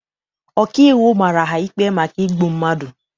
Ọkaiwu mara ha ikpe maka igbu mmadụ.